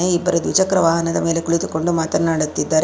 ಇನ್ನಿಬ್ಬರ ದ್ವಿಚಕ್ರ ವಾಹನದ ಮೇಲೆ ಕುಳಿತುಕೊಂಡು ಮಾತನಾಡುತ್ತಿದ್ದಾರೆ.